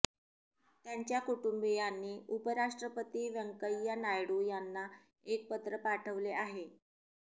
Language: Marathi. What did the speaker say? त्यांच्या कुटुंबीयांनी उपराष्ट्रपती व्यंकय्या नायडू यांना एक पत्र पाठवले आहे